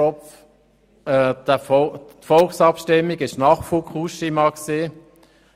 Kropf: Das Volk hat unserem Volksvorschlag